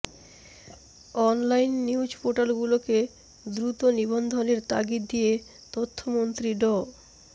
online news পোর্টালগুলোকে দ্রুত নিবন্ধনের তাগিদ দিয়ে তথ্যমন্ত্রী ড